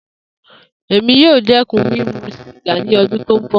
Emi yoo dẹkun mimu siga ni ọdun ti n bọ.